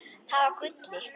Það var Gulli.